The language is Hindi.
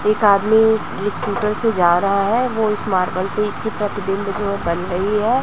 एक आदमी अपने स्कूटर से जा रहा है वो इस मार्बल पे इसकी प्रतिबिंब जो है बन रही है।